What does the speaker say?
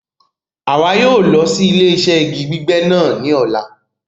A yóò lọ sí ilẹ̀-iṣẹ̀ igi gbígbẹ́ náà ni ọ̀là